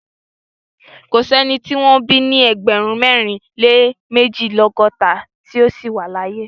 Kò sí ẹni tí wọ́n bí ní ẹgbẹ̀rún mẹ́rin lé méjìlélọ́gọ́ta tí ó ṣì wà láàyè.